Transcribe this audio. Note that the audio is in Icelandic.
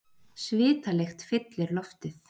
Svitalykt fyllir loftið.